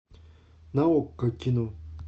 на окко кино